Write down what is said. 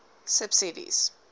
subsidies